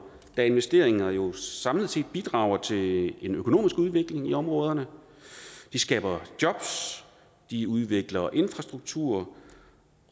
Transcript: da investeringer jo samlet set bidrager til en økonomisk udvikling i områderne de skaber jobs de udvikler infrastrukturen